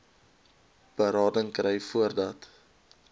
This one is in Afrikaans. berading kry voordat